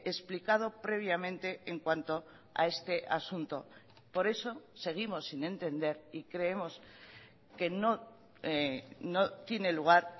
explicado previamente en cuanto a este asunto por eso seguimos sin entender y creemos que no no tiene lugar